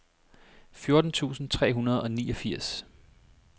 fjorten tusind tre hundrede og niogfirs